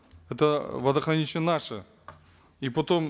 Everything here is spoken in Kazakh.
это водохранилище наше и потом